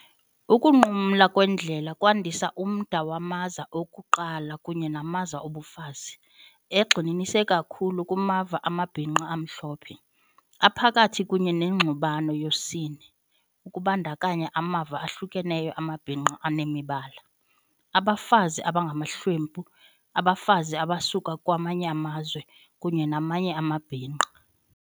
Ukunqumla kweendlela kwandisa umda wamaza okuqala kunye namaza obufazi, egxininise kakhulu kumava amabhinqa amhlophe, aphakathi kunye nengxubano yosini, ukubandakanya amava ahlukeneyo amabhinqa anemibala, abafazi abangamahlwempu, abafazi abasuka kwamanye amazwe, kunye namanye amabhinqa.